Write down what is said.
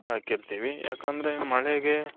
ಹಾಕಿರ್ತೀವಿ ಯಾಕಂದ್ರೆ ಮಳೆಗೆ,